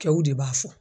Kɛw de b'a fɔ